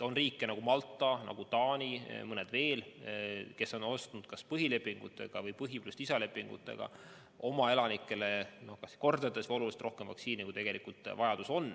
On riike, nagu Malta ja Taani ning mõned veel, kes on ostnud kas põhilepingutega või põhilepingu pluss lisalepingutega oma elanikele kas kordades või oluliselt rohkem vaktsiini, kui tegelikult vajadus on.